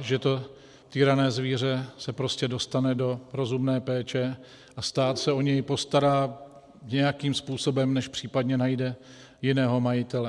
že to týrané zvíře se prostě dostane do rozumné péče a stát se o něj postará nějakým způsobem, než případně najde jiného majitele.